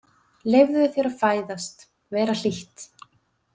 Leyfðu þér að fæðast, vera hlýtt.